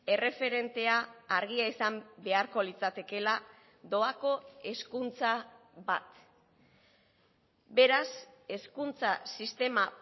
erreferentea argia izan beharko litzatekeela doako hezkuntza bat beraz hezkuntza sistema